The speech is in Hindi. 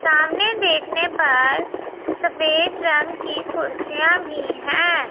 सामने देखने पर सफेद रंग की कुर्सियां भी हैं।